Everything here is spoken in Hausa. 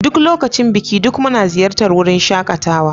Duk lokacin Biki, duk muna ziyartar wurin shakatawa.